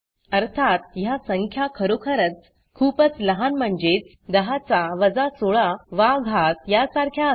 अर्थात ह्या संख्या खरोखरच खूपच लहान म्हणजेच 10 चा 16 वा घात यासारख्या असतील